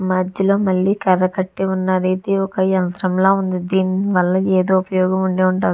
మధ్యలో మళ్ళీ కరకట్టి ఉన్నది ఒక యంత్రం కట్టి ఉన్నది దీని వల్ల ఏదో ఉపయోగం ఉండే ఉంటది.